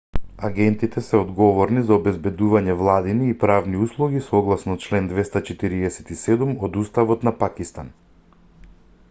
агентите се одговорни за обезбедување владини и правни услуги согласно член 247 од уставот на пакистан